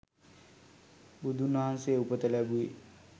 බුදුන්වහන්සේ උපත ලැබුවේ